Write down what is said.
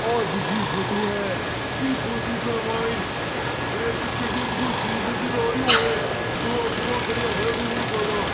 आ जकी फोटो है ई फोटो के मायने एक स्टेडियम को सिन नजर आरियो है छोरा छोरा खड़िया है घना सारा।